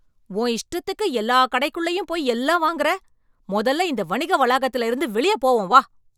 உன் இஷ்டத்துக்கு எல்லா கடைக்குள்ளயும் போய் எல்லாம் வாங்குற, மொதல்ல இந்த வணிக வளாகத்துல இருந்து வெளியப் போவோம் வா.